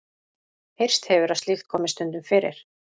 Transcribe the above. Heyrst hefur að slíkt komi stundum fyrir.